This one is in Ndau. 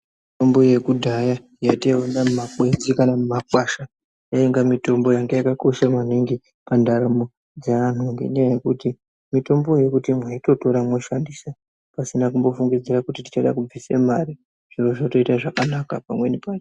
Mitombo yekudhaya yataiona mumakwenzi kana mumagwasha yainga yakakosha maningi pandaramo dze antu ngenyaya yekuti mitombo yekuti maitotora moshandisa pasina kumbofungidzira kuti tichada kubvisa mari zviro zvotoita zvakanaka pamweni pacho.